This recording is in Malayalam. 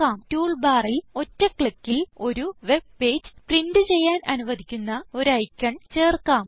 ടൂൾ ബാറിൽ ഒറ്റ ക്ലിക്കിൽ ഒരു വെബ് പേജ് പ്രിന്റ് ചെയ്യാൻ അനുവധിക്കുന്ന ഒരു ഐക്കൺ ചേർക്കാം